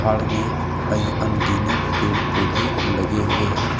पहाड़ में अनगिनत पेड़-पौधे लगे हुए हैं।